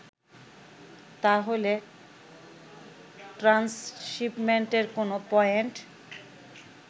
তাহলে ট্রান্সশিপমেন্টের কোন পয়েন্ট